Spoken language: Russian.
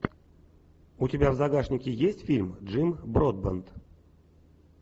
у тебя в загашнике есть фильм джим бродбент